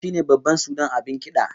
Ganga shine babban sudan abin kida